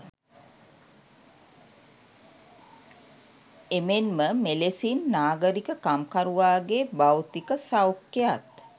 එමෙන්ම මෙලෙසින් නාගරික කම්කරුවාගේ භෞතික සෞඛ්‍යයත්